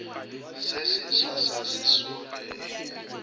se seswa sa sesole e